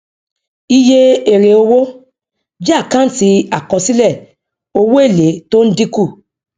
iye èrèowó jẹ àkáǹtì àkọsílẹ owó èlé tó ń dínkù